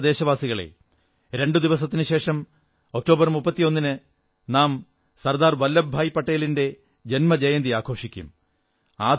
എന്റെ പ്രിയപ്പെട്ട ദേശവാസികളേ രണ്ടു ദിവസത്തിനുശേഷം ഒക്ടോബർ 31ന് നാം സർദാർ വല്ലഭഭായി പട്ടേലിന്റെ ജന്മജയന്തി ആഘോഷിക്കും